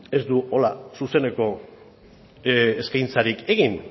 ez du hola zuzeneko eskaintzarik egin